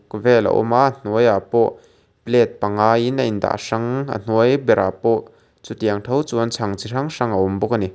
kaw vel a awm a a hnuai ah pawh plate panga in a in dah hrang a hnuai ber ah pawh chutiang tho chuan chhang chi hrang hrang a awm bawk ani.